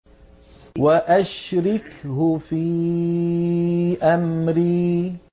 وَأَشْرِكْهُ فِي أَمْرِي